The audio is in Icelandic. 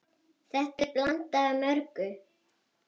Þetta er blanda af mörgu.